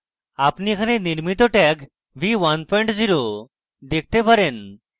আপনি এখানে নির্মিত tag v10 দেখতে পারেন